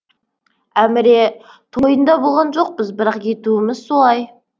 әміре тойында болған жоқпыз бірақ етуіміз солай